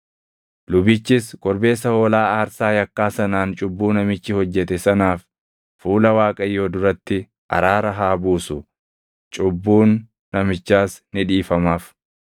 Lubichis korbeessa hoolaa aarsaa yakkaa sanaan cubbuu namichi hojjete sanaaf fuula Waaqayyoo duratti araara haa buusu; cubbuun namichaas ni dhiifamaaf.